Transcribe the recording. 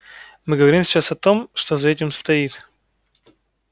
мы говорим сейчас о том что за этим стоит